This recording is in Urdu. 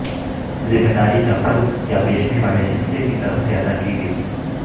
ذمہ داری کا فرض یا بیچنے والے حصے کی طرف سے ادا کی گئی